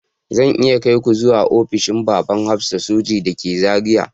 Zan iya kai ku zuwa ofishin babban hafsan soji da ke Zariya